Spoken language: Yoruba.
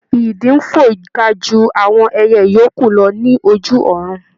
Idì ń fò ga ju àwọn ẹyẹ yòókù lọ ní ojú ọ̀run.